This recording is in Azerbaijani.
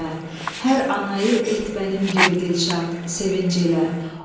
Hər anayı et mənim kimi dilşad sevinci ilə.